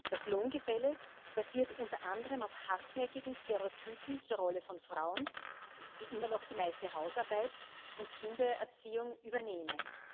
Das Lohngefälle basiert unter anderem auf hartnäckigen Stereotypen zur Rolle von Frauen, die immer noch die meiste Hausarbeit und Kindererziehung übernehmen.